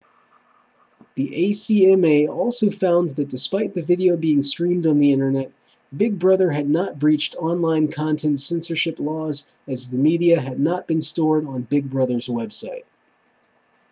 the acma also found that despite the video being streamed on the internet big brother had not breached online content censorship laws as the media had not been stored on big brother's website